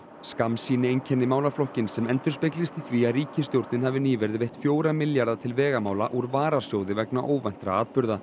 skammsýni einkenni málaflokkinn sem endurspeglist í því að ríkisstjórnin hafi nýverið veitt fjóra milljarða til vegamála úr varasjóði vegna óvæntra atburða